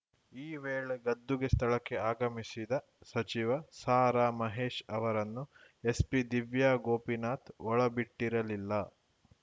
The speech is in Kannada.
ಈ ವೇಳೆ ಗದ್ದುಗೆ ಸ್ಥಳಕ್ಕೆ ಆಗಮಿಸಿದ ಸಚಿವ ಸಾರಾ ಮಹೇಶ್‌ ಅವರನ್ನು ಎಸ್ಪಿ ದಿವ್ಯಾ ಗೋಪಿನಾಥ್‌ ಒಳಬಿಟ್ಟಿರಲಿಲ್ಲ